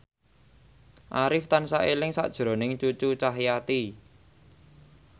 Arif tansah eling sakjroning Cucu Cahyati